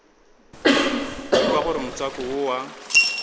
ekwa gore motswako wo wa